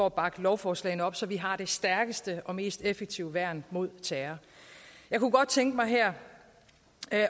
at bakke lovforslagene op så vi har det stærkeste og mest effektive værn mod terror jeg kunne godt tænke mig her